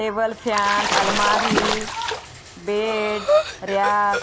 table fan अलमारी bed rack --